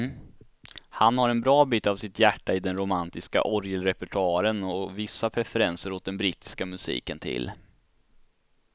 Han har en bra bit av sitt hjärta i den romantiska orgelrepertoaren och vissa preferenser åt den brittiska musiken till.